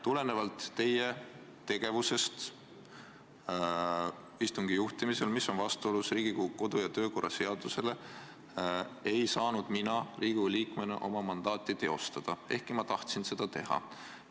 Kuna teie tegevus istungi juhtimisel oli vastuolus Riigikogu kodu- ja töökorra seadusega, ei saanud mina Riigikogu liikmena oma mandaati teostada, ehkki ma tahtsin seda teha.